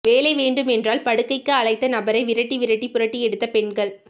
வேலை வேண்டுமென்றால் படுக்கைக்கு அழைத்த நபரை விரட்டி விரட்டி புரட்டியெடுத்த பெண்கள்